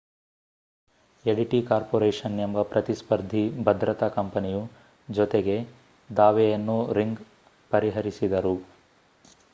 ಎಡಿಟಿ corporation ಎಂಬ ಪ್ರತಿಸ್ಫರ್ಧಿ ಭದ್ರತಾ ಕಂಪನಿಯು ಜೊತೆಗೆ ದಾವೆಯನ್ನೂ ರಿಂಗ್ ಪರಿಹರಿಸಿದರು